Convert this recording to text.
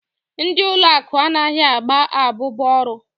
Ndị ụlọ akụ anaghị agba abubu ọrụ.